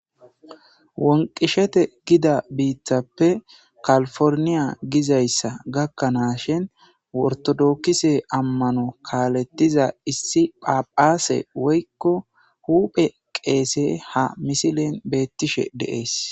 Wonqishete Giza bittappe kalporniya gizaysa gakanashin ortotokise amano kalethiza issi phaphase woykon huphe qesey ha misilen betishe de'es